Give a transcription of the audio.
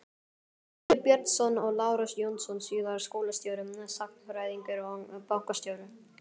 Lýður Björnsson og Lárus Jónsson- síðar skólastjóri, sagnfræðingur og bankastjóri.